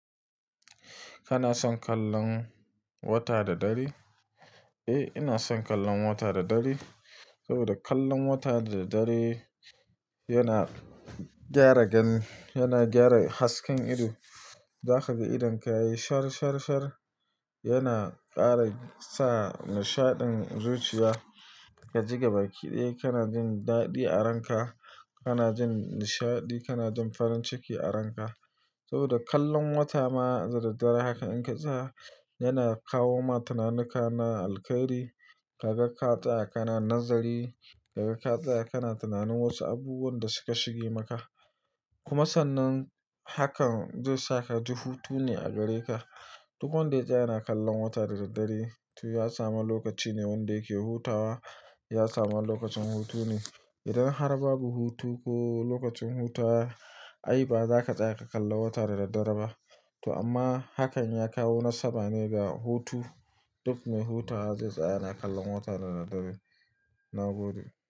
Kana son kallon wata da dare? Eh, ina son kallon wata da dare saboda kallon wata da dare yana gyara gani, yana gyara hasken ido. Zaka ga idon ka yayi shar shar shar, yana ƙara sa nishaɗin zuciya. Kaji gabaki ɗaya kana jin daɗi a ranka, kana jin nishaɗi, kana jin farin ciki a ranka. Saboda kallon wata ma da daddare haka in ka tsaya yana kawo ma tananuka na alkhairi. Kaga ka tsaya kana nazari, ka ga ka tsaya kana tunanin wasu abubuwan da suka shige maka. Kuma sannan hakan zai saka ji hutu ne a gare ka. Duk wanda ya tsaya yana kallon wata da daddare to ya samu lokaci ne wanda yake hutawa, ya samu wani lokacin hutu ne. Idan har babu hutu ko lokacin hutawa, ai ba za ka tsaya ka kalla wata da daddare ba. To amma hakan ya kawo nasaba ne ga hutu. Duk mai hutawa zai tsaya yana kallon wata da daddare. Na gode.